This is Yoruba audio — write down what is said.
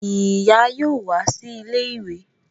Ìyá yóò wá sí ilé ìwé